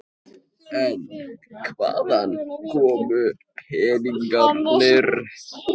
En hvaðan komu peningarnir?